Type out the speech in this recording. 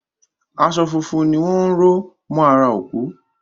Aṣọ funfun ni wọ́n ró mọ́ ara òkú